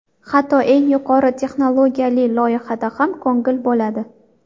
Hatto eng yuqori texnologiyali loyihada ham ko‘ngil bo‘ladi.